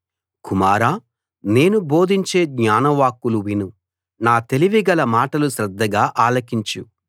కుమారా నేను బోధించే జ్ఞానవాక్కులు విను నా తెలివి గల మాటలు శ్రద్ధగా ఆలకించు